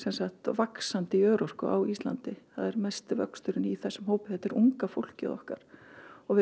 vaxandi í örorku á Íslandi það er mesti vöxturinn í þessum hópi þetta er unga fólkið okkar og við